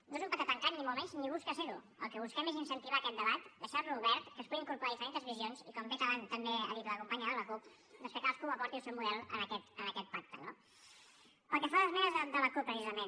no és un pacte tancat ni molt menys ni busca ser ho el que busquem és incentivar aquest debat deixar lo obert que es puguin incorporar diferents visions i com bé abans ha dit la companya de la cup doncs que cadascú aporti el seu model a aquest pacte no pel que fa a les esmenes de la cup precisament